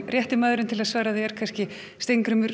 rétti maðurinn til að svara því er Steingrímur